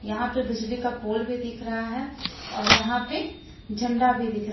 यहां पे बिजली का पोल भी दिख रहा है और यहां पे झंडा भी दिख रहा--